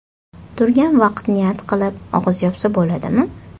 Turgan vaqt niyat qilib, og‘iz yopsa boladimi?.